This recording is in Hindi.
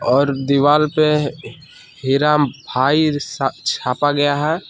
और दीवार पे हीरा भाई छा छापा गया है।